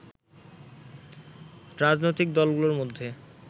রাজনৈতিক দলগুলোর মধ্যে